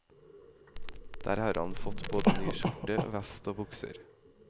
Der har han fått både ny skjorte, vest og bukser.